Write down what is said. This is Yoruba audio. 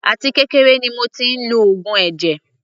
Àti kékeré ni mo tí ń lo oògùn ẹ̀jẹ̀.